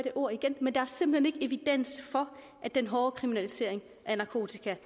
ord igen for at den hårde kriminalisering af narkotika